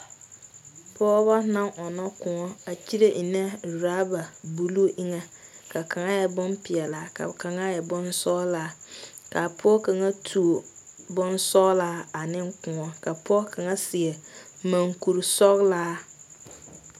Pɔge ba naŋ ɔnno kóɔ a kyiire enne rubber blue eŋa ka kaŋa e bonpeɛlaa ka kaŋa e bonsɔglaa kaa pɔge kaŋa toɔ bonsɔglaa ane kóɔ ka pɔge kaŋa seɛ mɔŋkuri sɔglaa.